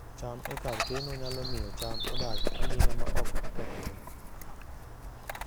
cham e kar keno nyalo miyo cham odag aming'a ma ok okethore